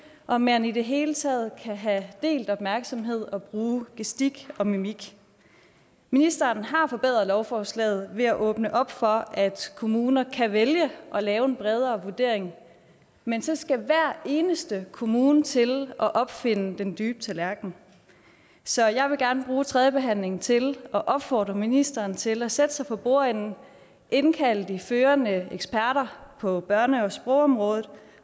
om man i det hele taget kan have delt opmærksomhed og bruge gestik og mimik ministeren har forbedret lovforslaget ved at åbne op for at kommuner kan vælge at lave en bredere vurdering men så skal hver eneste kommune til at opfinde den dybe tallerken så jeg vil gerne bruge tredjebehandlingen til at opfordre ministeren til at sætte sig for bordenden og indkalde de førende eksperter på børne og sprogområdet